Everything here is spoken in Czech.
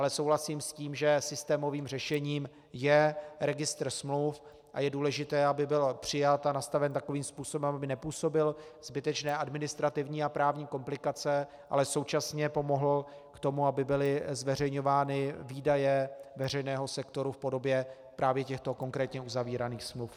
Ale souhlasím s tím, že systémovým řešením je registr smluv a je důležité, aby byl přijat a nastaven takovým způsobem, aby nepůsobil zbytečné administrativní a právní komplikace, ale současně pomohl k tomu, aby byly zveřejňovány výdaje veřejného sektoru v podobě právě těchto konkrétně uzavíraných smluv.